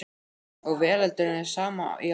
Og veröldin er sem í árdaga